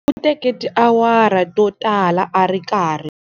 U teke tiawara to tala a ri karhi.